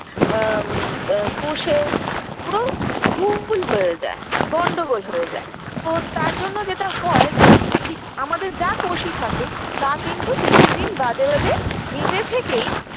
আম আ কোষের পুরো ভুল হয়ে যায় গন্ডগোল হয়ে যায় তো তার জন্য যেটা হয় যে কি আমাদের যা কোষই থাকুক তা কিন্তু কিছুদিন বাদে বাদে নিজে থেকেই